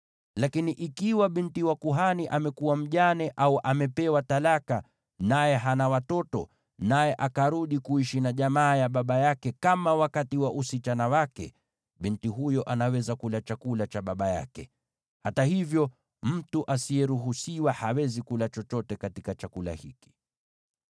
Lakini ikiwa binti wa kuhani amekuwa mjane au amepewa talaka, naye hana watoto, na akarudi kuishi na jamaa ya baba yake kama wakati wa usichana wake, binti huyo anaweza kula chakula cha baba yake. Hata hivyo, mtu asiyeruhusiwa hawezi kula chochote katika chakula hiki.